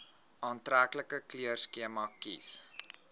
aantreklike kleurskema kies